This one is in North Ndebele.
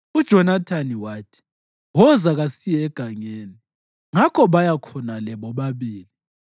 UJonathani wathi, “Woza, kasiye egangeni.” Ngakho baya khonale bobabili.